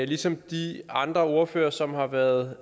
ligesom de andre ordførere som har været